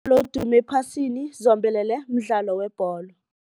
Oodume ephasini zombelele, mdlalo webholo.